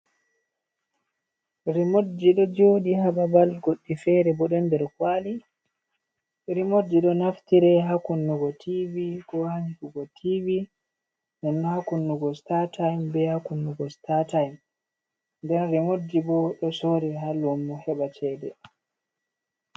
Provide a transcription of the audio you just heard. Rimodji ɗo jodi hababal goddi fere bo don der kwali. Rimodji ɗo naftire ha kunnugo tivi ko hantugo tivi nden ha kunnugo statim be ha kunnugo startim nden rimoji bo ɗo sore ha lumo heba cede.